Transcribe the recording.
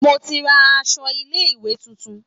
Mo ti ra áṣọ ilé ìwé tuntun